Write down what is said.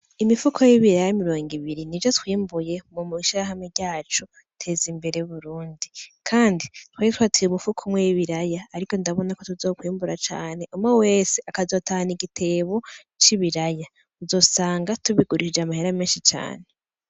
Imifuko y'ibiraya mirongo ibiri, nivyo twimbuye mw'ishirahamwe ryacu Teza Imbere Burundi. Kandi twari twateye umufuko umwe w'ibiraya. Ariko ndabona ko tuzokwimbura cane, umwe wese akazotahana igitebo c'ibiraya. Uzosanga tubigurishije amahera menshi cane.